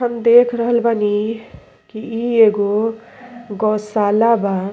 हम देख रहल बानी की ई एगो गौशाला बा।